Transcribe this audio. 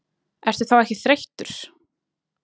Ertu þá ekki þreyttur?